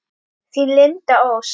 Þín, Linda Ósk.